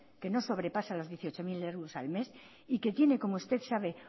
que no sobrepasa los dieciocho mil euros al mes y que tiene como usted sabe